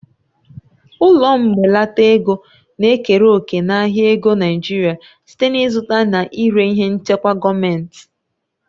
Ụlọ mbelata ego na-ekere òkè n'ahịa ego Naijiria site n'ịzụta na ire ihe nchekwa gọọmentị.